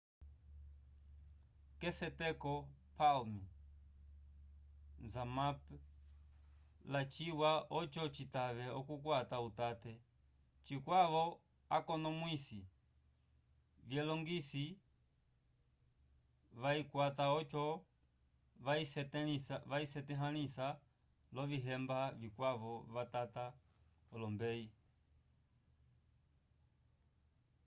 k'eseteko palm zmapp lyaciwa oco citave okukwata utate cikwavo akonomwisi vyelongiso vayikwata oco vayisetahãlisa l'ovihemba vikwavo vatata olombeyi